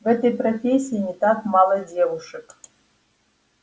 в этой профессии не так мало девушек